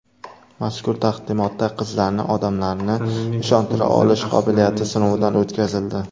Mazkur taqdimotda qizlarning odamlarni ishontira olish qobiliyati sinovdan o‘tkazildi.